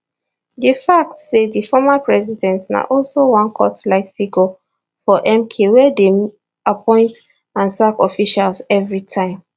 di fact say di former president na also one cultlike figure for mk wey dey appoint and sack officials evritime